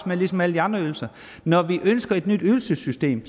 med ligesom alle andre ydelser når vi ønsker et nyt ydelsessystem